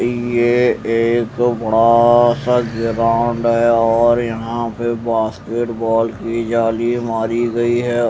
ये एक बड़ा आ सा ग्राउंड है और यहां पे बास्केटबॉल की जाली मारी गई है।